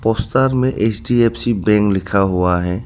Poster में HDFC bank लिखा हुआ है।